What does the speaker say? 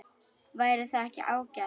Væri það ekki ágætt?